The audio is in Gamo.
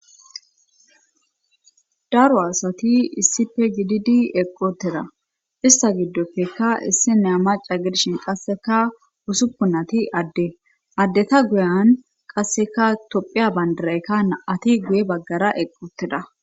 daro asati issipfe gididi eqoteda ista giddopfekka issi ne amaca gidshin qasseka usuppu nati adde addeta guyan qasseka tophiya bandaraykka naati guye baggara eqoteda